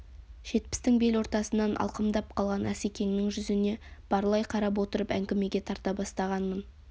жетпістің бел ортасынан алқымдап қалған асекеңнің жүзіне барлай қарап отырып әңгімеге тарта бастағанмын